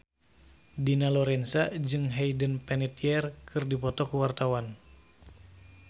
Dina Lorenza jeung Hayden Panettiere keur dipoto ku wartawan